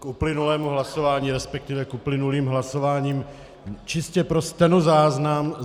K uplynulému hlasování, respektive k uplynulým hlasováním čistě pro stenozáznam.